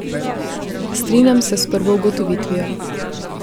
Strinjam se s prvo ugotovitvijo.